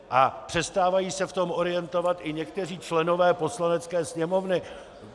A přestávají se v tom orientovat i někteří členové Poslanecké sněmovny.